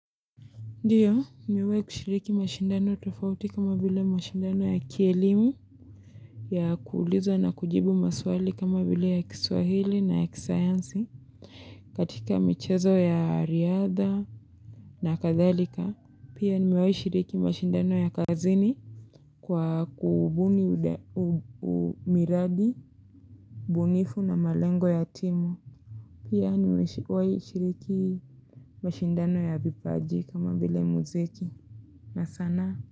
Ndiyo nimewahi kushiriki mashindano tofauti kama vile mashindano ya kielimu. Ya kuulizwa na kujibu maswali kama vile ya kiswahili na ya kisayansi. Katika michezo ya riadha na kathalika. Pia nimewahi shiriki mashindano ya kazini. Kwa kubuni miradi, bunifu na malengo ya timu. Pia nimewahi shiriki mashindano ya vipaji kama vile muziki na sanaa.